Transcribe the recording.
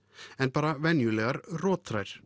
en bara venjulegar